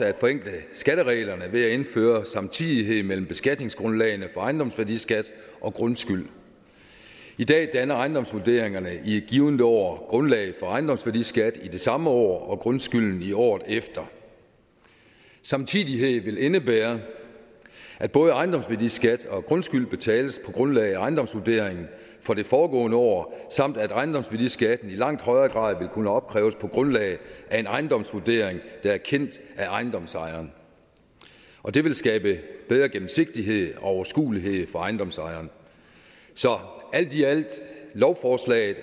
at forenkle skattereglerne ved at indføre samtidighed mellem beskatningsgrundlaget for ejendomsværdiskat og grundskyld i dag danner ejendomsvurderingerne i et givent år grundlaget for ejendomsværdiskat i det samme år og grundskylden i året efter samtidighed vil indebære at både ejendomsværdiskat og grundskyld betales på grundlag af ejendomsvurderingen for det foregående år samt at ejendomsværdiskatten i langt højere grad vil kunne opkræves på grundlag af en ejendomsvurdering der er kendt af ejendomsejeren og det vil skabe bedre gennemsigtighed og overskuelighed for ejendomsejeren så alt i alt er lovforslaget